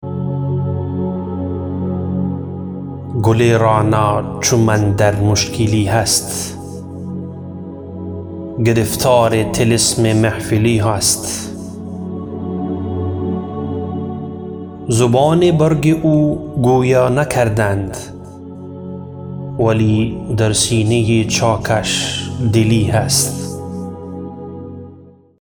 گل رعنا چو من در مشکلی هست گرفتار طلسم محفلی هست زبان برگ او گویا نکردند ولی در سینه چاکش دلی هست